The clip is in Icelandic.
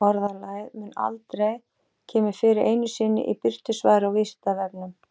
Orðalagið mun aldrei kemur fyrir einu sinni í birtu svari á Vísindavefnum.